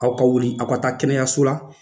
Aw ka wuli aw ka taa kɛnɛyaso la